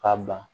K'a ban